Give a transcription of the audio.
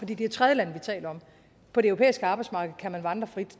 det det er tredjelande vi taler om på det europæiske arbejdsmarked kan man vandre frit